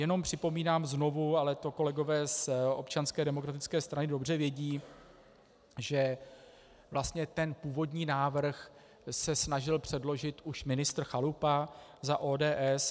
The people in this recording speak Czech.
Jenom připomínám znovu, ale to kolegové z Občanské demokratické strany dobře vědí, že vlastně ten původní návrh se snažil předložit už ministr Chalupa za ODS.